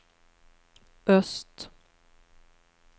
öst